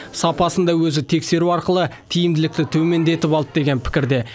сапасын да өзі тексеру арқылы тиімділікті төмендетіп алды деген пікірде